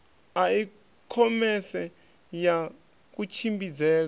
a i khomese ya kutshimbidzele